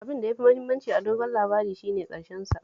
Abin da ya fi mahimmanci a dogon labari shi ne ƙarshensa